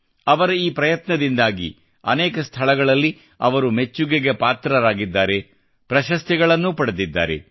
ಅವರ ಈ ಪ್ರಯತ್ನದಿಂದಾಗಿ ಅನೇಕ ಸ್ಥಳಗಳಲ್ಲಿ ಅವರು ಮೆಚ್ಚುಗೆ ಗಳಿಸಿದ್ದಾರೆ ಮತ್ತು ಪ್ರಶಸ್ತಿಗಳನ್ನೂ ಪಡೆದಿದ್ದಾರೆ